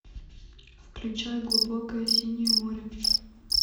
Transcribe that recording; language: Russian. включай глубокое синее море